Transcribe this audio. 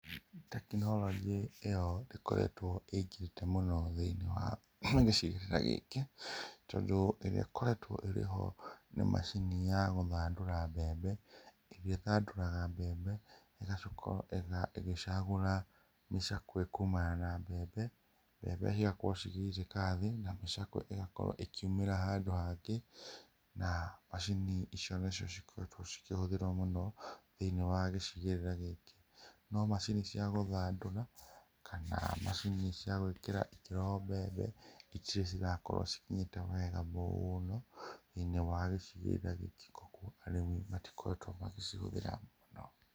Tekinoronjĩ ĩyo ĩkoretwo ĩingĩrĩte mũno thĩinĩ wa gĩcigĩrĩra gĩkĩ tondũ ĩrĩa ĩkoretwo ĩrĩho nĩ macini ya gũthandũra mbembe, ĩrĩa ĩthandũraga mbembe ĩgacoka ĩga ĩgĩcagũra mĩcakwe kumana na mbembe, mbembe cigakorwo cigĩitĩka thĩ, na mĩcakwe ĩgakorwo ĩkĩumĩra handũ hangĩ. Na macini icio nacio cikoretwo cikĩhũthĩrwo mũno thĩinĩ wa gĩcĩgĩrĩra gĩkĩ, no macini cia gũthandũra kana macini cia gũĩkĩra ikĩro mbembe itirĩ cirakorwo cikinyĩte wega mũno thĩinĩ wa gĩcigĩrĩra gĩkĩ koguo arĩmi matikoretwo magĩcihũthĩra mũno.